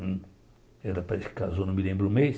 Ela parece que casou, não me lembro o mês.